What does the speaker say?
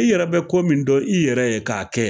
i yɛrɛ bɛ ko min dɔn i yɛrɛ ye k'a kɛ